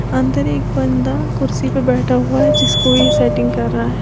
अंदर एक बंदा कुर्सी पे बैठा हुआ है जिसको ये सेटिंग कर रहा है।